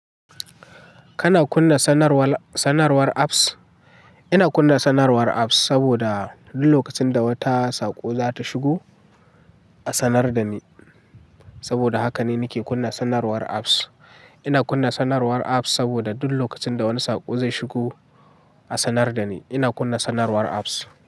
Kana kunna sanarwar, sanarwar apps? Ina kunna sanarwar apps saboda duk lokacin da wata saƙo za ta shigo a sanar da ni. Saboda haka ne nake kunna sanarwar apps. Ina kunna sanarwar apps saboda duk lokacin da wani saƙo zai shigo a sanar da ni. Ina kunna sanarwar apps.